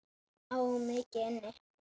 Á mikið inni.